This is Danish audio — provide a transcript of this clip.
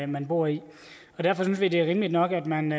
man bor i derfor synes vi det er rimeligt nok at man